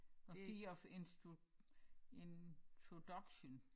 Og Sea of Introduction